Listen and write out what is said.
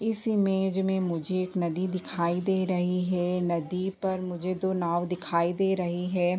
इस इमेज में मुझे एक नदी दिखाई दे रही है नदी पर मुझे दो नाव दिखाई दे रही हैं।